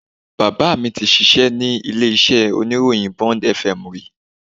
Bàbá mi tí ṣíṣe ní ilé iṣẹ́ oníròyìn Bond FM rí